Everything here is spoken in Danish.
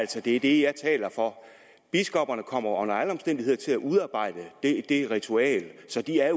det er det jeg taler for biskopperne kommer under alle omstændigheder til at udarbejde det ritual så de er